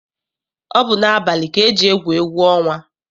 Ọ bụ n'abalị ka eji egwu egwu ọnwa.